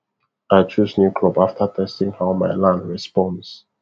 i chose new crop after testing how my land responds